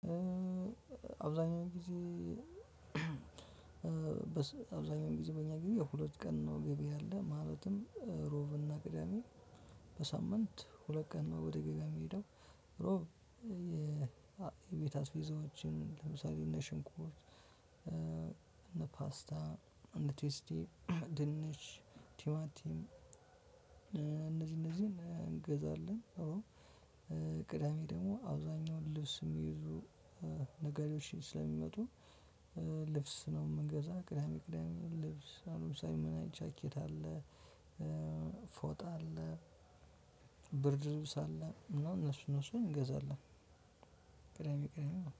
አብዛኛው ጊዜ አብዛኛው ጊዜ በእኛ ግቢ የሁለት ቀን ነው። ገቢ ያለ ማለትም ሮብና ቅዳሜ በሳምንት ሁለት ቀን ነው ወደ ገበያ የምሄደው። የቤት አስቤዛዎችን ለምሳለ እንደ ሽንኩርት፣ እነ ፓስታ፣ እነ ቴስቲ ትንሽ ቲማቲም እነዚህ እነዚህን እንገዛለን። አዎ። ቅዳሜ ደግሞ አብዛኛውን ልብስ የሚይዙ ነጋዴዎችን ስለሚመጡ። ልብስ ነው የምንገዛው። ቅዳሜ ቅዳሜ ልብስ አለ ጃኬት አለ ፎጣ አለ ብርድ ልብስ አለ እና እነሱ እነሱን እንገዛለን። ቅዳሜ ቅዳሜ ነው